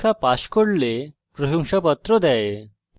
online পরীক্ষা pass করলে প্রশংসাপত্র দেয়